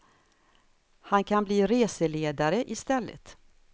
Han kan bli reseledare i stället.